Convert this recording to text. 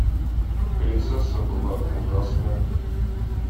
принцесса была ужасная